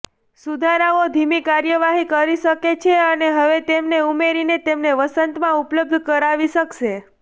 સુધારાઓ ધીમી કાર્યવાહી કરી શકે છે અને હવે તેમને ઉમેરીને તેમને વસંતમાં ઉપલબ્ધ કરાવી શકશે